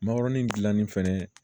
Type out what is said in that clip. Makɔrɔni dilanni fɛnɛ